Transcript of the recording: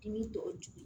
I y'u tɔ jugu